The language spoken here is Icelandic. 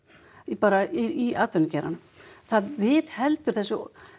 bara í atvinnugeiranum það viðheldur þessu